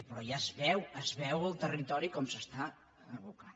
però ja es veu es veu al territori com s’està abocant